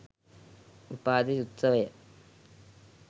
උපාධි උත්සවය